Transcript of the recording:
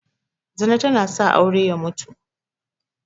Zina tana sa aure ya mutu